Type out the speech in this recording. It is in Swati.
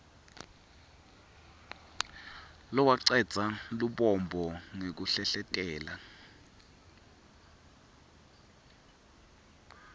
lowacedza lubombo ngekuhlehletela